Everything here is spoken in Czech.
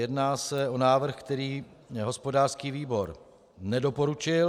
Jedná se o návrh, který hospodářský výbor nedoporučil.